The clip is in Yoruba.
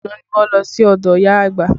Àná ni wọ́n lọ sí ọdọ ìyá àgbà